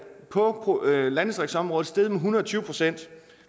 på landdistriktsområdet steget med en hundrede og tyve procent